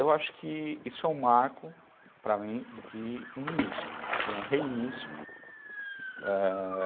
Eu acho que isso é um marco, para mim, de um início, de um reinício, é...